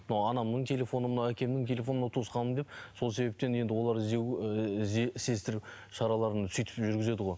мынау анамның телефоны мынау әкемнің телефоны мынау туысқаным деп сол себептен енді олар іздеу іздестіру шараларын сөйтіп жүргізеді ғой